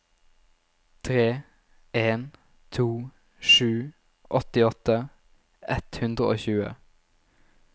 tre en to sju åttiåtte ett hundre og tjue